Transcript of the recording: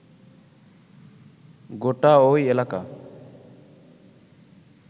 গোটা ঐ এলাকা